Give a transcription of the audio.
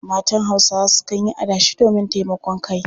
Matan Hausawa sukan yi adashi domin taimakon kai.